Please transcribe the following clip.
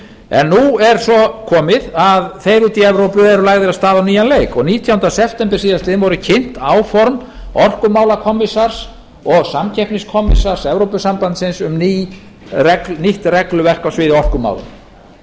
en nú er svo komið að þeir úti í evrópu eru lagðir af stað á nýjan leik og nítjánda september síðastliðinn voru kynnt áform orkumálakommissars og samkeppniskommissars evrópusamsambandsins um nýtt regluverk á sviði orkumála